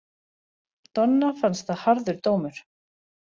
Donna fannst það harður dómur.